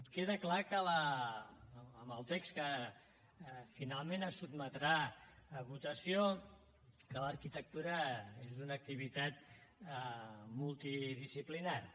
queda clar amb el text que finalment es sotmetrà a votació que l’arquitectura és una activitat multidisciplinària